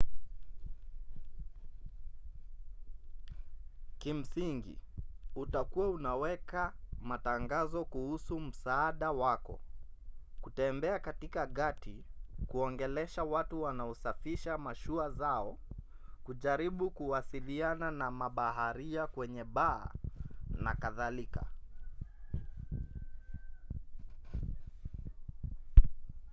kimsingi utakuwa unaweka matangazo kuhusu msaada wako kutembea katika gati kuongelesha watu wanaosafisha mashua zao kujaribu kuwasiliana na mabaharia kwenye baa na kadhalika